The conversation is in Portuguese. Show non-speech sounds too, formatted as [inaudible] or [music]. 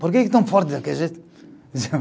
Por que que estão forte daquele jeito? [laughs]